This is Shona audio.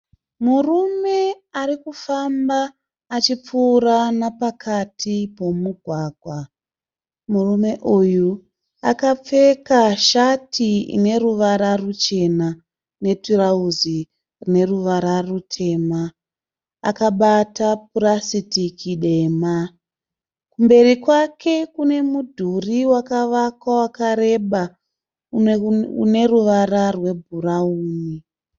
Murume arikufamba achipfuura napakati pomugwagwa. Murume uyu akapfeka shati ine ruvara ruchena netirauzi rine ruvara rutema. Akabata purasitiki dema. Kumberi kwake kune mudhuri wakavakwa wakareba une ruvara rebhurawuni.